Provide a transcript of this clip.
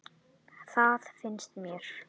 Það finnst mér.